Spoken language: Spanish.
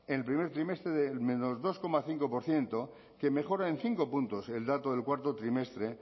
en el primer trimestre del menos dos coma cinco por ciento que mejora en cinco puntos el dato del cuarto trimestre